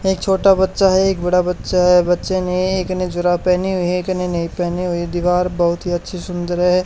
एक छोटा बच्चा है एक बड़ा बच्चा है बच्चे ने एक ने जुराब पेहनी हुई है एक ने नई पेहनी हुई दीवार बहोत ही अच्छी सुंदर है।